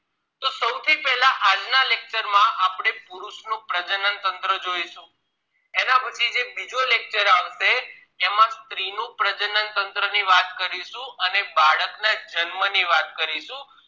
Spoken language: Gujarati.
પુરુષ નું પ્રજનન તંત્ર જોઈશું એના પછી જે બીજો lecture આવશે એમાં સ્ત્રી નું પ્રજનનતંત્ર ની વાત કરીશું અને બાળક ના જન્મ ની વાત કરીશું